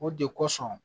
O de kosɔn